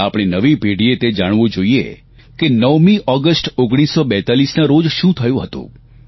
આપણી નવી પેઢીએ તે જાણવું જોઇએ કે 9મી ઓગષ્ટ 1942ના રોજ શું થયું હતું